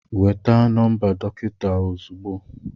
Nweta nọmba dọkịta ozugbo